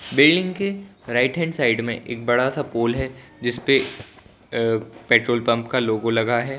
Building के right hand side में एक बड़ा सा पोल है जिसपे अ पेट्रोल पंप का लोगो लगा है।